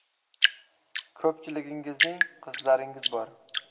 Ko‘pchiligingizning qizlaringiz bor.